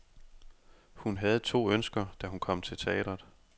Hun havde to ønsker, da hun kom til teatret.